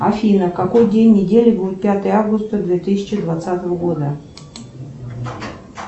афина какой день недели будет пятое августа две тысячи двадцатого года